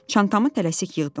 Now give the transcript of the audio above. Çantamı tələsik yığdım.